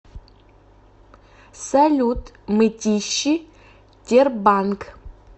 салют мытищи тербанк